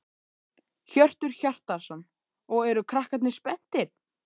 Hjörtur Hjartarson: Og eru krakkarnir spenntir?